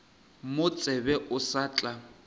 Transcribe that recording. mo tsebe o sa tla